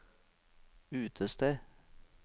utested